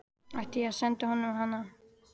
Átti ég að senda honum hana?